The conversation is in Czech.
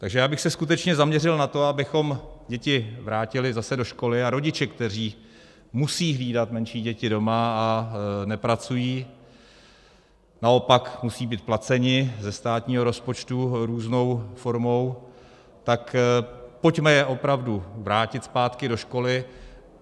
Takže já bych se skutečně zaměřil na to, abychom děti vrátili zase do školy, a rodiče, kteří musejí hlídat menší děti doma a nepracují, naopak musejí být placeni ze státního rozpočtu různou formou, tak pojďme je opravdu vrátit zpátky do školy.